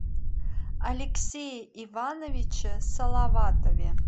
алексее ивановиче салаватове